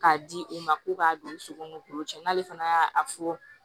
K'a di u ma ko k'a don u sogo ni k'u cɛ n'ale fana y'a fɔ